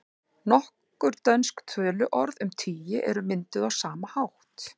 Nokkur dönsk töluorð um tugi eru mynduð á sama hátt.